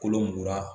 Kolo mugan